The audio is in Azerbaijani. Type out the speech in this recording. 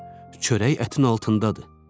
Çörək ətin altındadır.